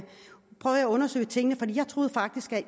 at undersøge tingene for jeg troede faktisk at